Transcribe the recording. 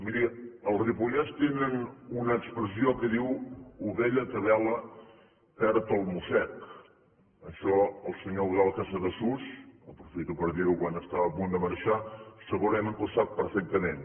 miri al ripollès tenen una expressió que diu ovella que bela perd el mossec això el senyor eudald casadesús aprofito per dir ho quan estava a punt de marxar segurament que ho sap perfectament